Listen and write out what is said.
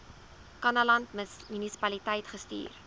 kannaland munisipaliteit gestuur